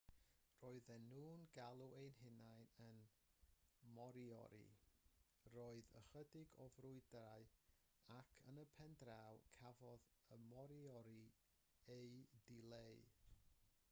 roedden nhw'n galw eu hunain yn moriori roedd ychydig o frwydrau ac yn y pen draw cafodd y moriori eu dileu